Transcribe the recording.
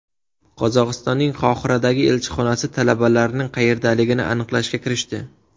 Qozog‘istonning Qohiradagi elchixonasi talabalarning qayerdaligini aniqlashga kirishdi.